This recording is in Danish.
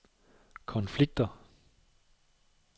konflikter